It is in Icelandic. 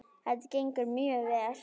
Þetta gengur mjög vel.